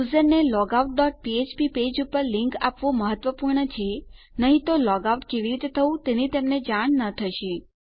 યુઝરને logout dot ફ્ફ્પ page પર લીંક આપવું મહત્વપૂર્ણ છે નહી તો લોગ આઉટ કેવી રીતે થવું તેની તેમને જાણ ન થશે